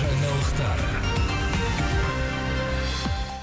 жаңалықтар